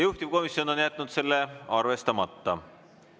Juhtivkomisjon on jätnud selle arvestamata.